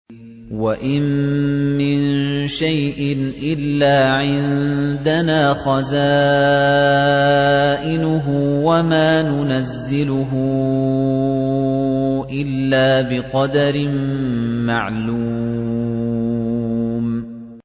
وَإِن مِّن شَيْءٍ إِلَّا عِندَنَا خَزَائِنُهُ وَمَا نُنَزِّلُهُ إِلَّا بِقَدَرٍ مَّعْلُومٍ